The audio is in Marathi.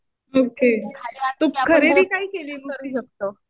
ओके. तू खरेदी काय केलीस?